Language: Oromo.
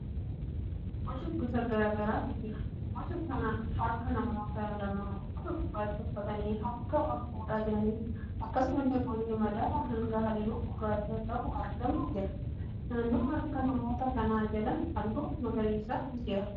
Boca gosa garaa garaatu jira. Boca harka namoota lamaa uffata gurraacha uffatanii harka wal fuudhaa jiraniidha. Akkasumallee bocni madaala hangaa halluu gurraacha qabu argamaa jira. Naannoo harka namoota kanaa jalaan halluun magariisaa jira.